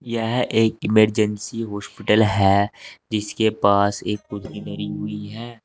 यह एक emergency hospital है जिसके पास एक कुर्सी धरी हुई है।